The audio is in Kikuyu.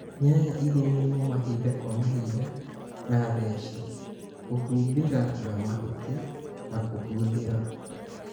Nyanya cilĩmĩrwo mahinda kwa mahinda na theci, kũhumbĩra na mahuti na kũhuhĩla